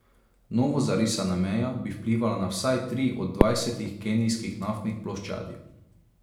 Novo zarisana meja bi vplivala na vsaj tri od dvajsetih kenijskih naftnih ploščadi.